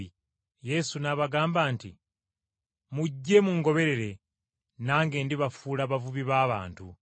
Yesu n’abagamba nti, “Mujje mungoberere nange ndibafuula abavubi b’abantu!”